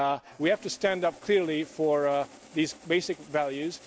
We have to stand up clearly for these basic values.